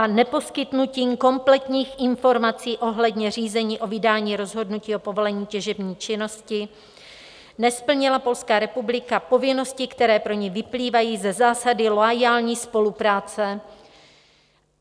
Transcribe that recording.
A neposkytnutím kompletních informací ohledně řízení o vydání rozhodnutí o povolení těžební činnosti nesplnila Polská republika povinnosti, které pro ni vyplývají ze zásady loajální spolupráce.